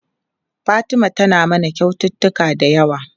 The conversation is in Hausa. Fatima tayi mana kyaututtuka da yawa.